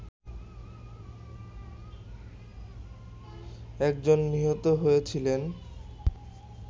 একজন নিহত হয়েছিলেন